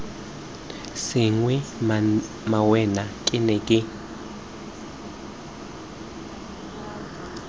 sengwe mmawena ke ne ke